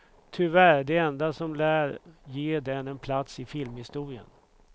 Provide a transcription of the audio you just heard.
Tyvärr det enda som lär ge den en plats i filmhistorien.